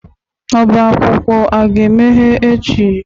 Ọbá akwụkwọ a ga-emeghe echi?